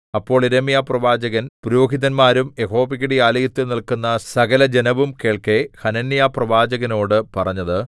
അപ്പോൾ യിരെമ്യാപ്രവാചകൻ പുരോഹിതന്മാരും യഹോവയുടെ ആലയത്തിൽ നില്ക്കുന്ന സകലജനവും കേൾക്കെ ഹനന്യാപ്രവാചകനോടു പറഞ്ഞത്